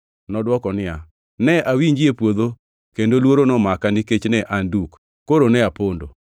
Nodwoko niya, “Ne awinji e puodho kendo luoro nomaka nikech ne an duk, koro ne apondo.”